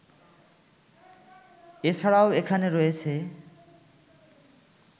এ ছাড়াও এখানে রয়েছে